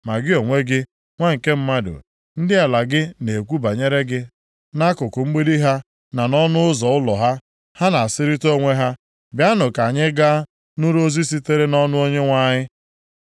“Ma gị onwe gị, nwa nke mmadụ, ndị ala gị na-ekwu banyere gị nʼakụkụ mgbidi ha na nʼọnụ ụzọ ụlọ ha. Ha na-asịrịta onwe ha, ‘Bịanụ ka anyị gaa nụrụ ozi sitere nʼọnụ Onyenwe anyị.’